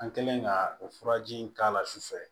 An kɛlen ka o furaji in k'a la su fɛ